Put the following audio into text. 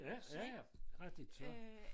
Ja ja ja rigtig så